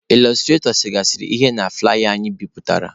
Ịlọstratọ segasịrị ihe na fụlaya anyị bipụtara.